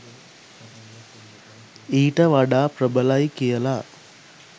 ඊට වඩා ප්‍රබලයි කියලා.